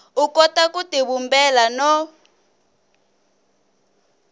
u kota ku tivumbela no